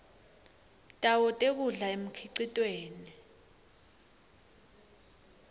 tawo tekudla emkhicitweni